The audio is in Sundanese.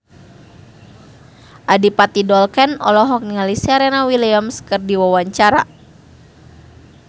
Adipati Dolken olohok ningali Serena Williams keur diwawancara